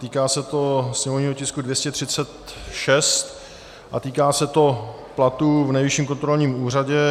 Týká se to sněmovního tisku 236 a týká se to platů v Nejvyšším kontrolním úřadě.